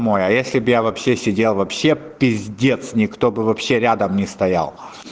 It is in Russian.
мой а я если бы я вообще сидел вообще пиздец никто бы вообще рядом не стоял